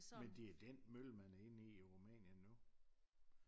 Men det er den mølle man har hevet ned over Rumænien nu